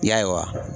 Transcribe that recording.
Ya ye wa